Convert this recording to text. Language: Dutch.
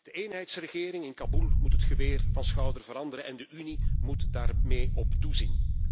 De eenheidsregering in Kaboel moet het geweer van schouder veranderen en de Unie moet daar mee op toezien.